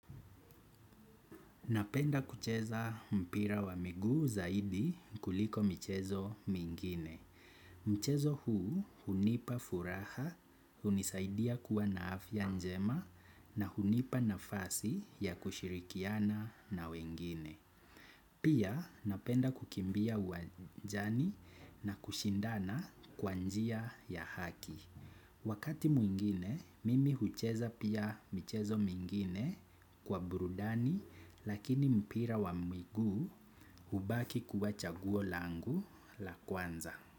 Napenda kucheza mpira wa miguu zaidi kuliko mchezo mwingine. Mchezo huu hunipa furaha, hunisaidia kuwa naafya njema na hunipa nafasi ya kushirikiana na wengine. Pia napenda kukimbia uwanjani na kushindana kwa njia ya haki. Wakati mwingine, mimi hucheza pia michezo mingine kwa burudani lakini mpira wa miguu hubaki kuwacha guo langu la kwanza.